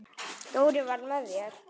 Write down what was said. Dóri var með mér.